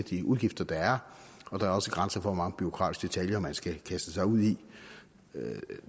de udgifter der er og der er også grænser for hvor mange bureaukratiske detaljer man skal kaste sig ud i